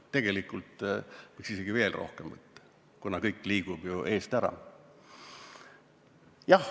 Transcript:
Tegelikult võiks isegi veel rohkem võtta, kuna kõik liigub ju eest ära.